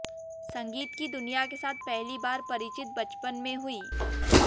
संगीत की दुनिया के साथ पहली बार परिचित बचपन में हुई